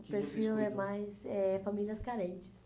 O que você escuta? O perfil é mais é famílias carentes.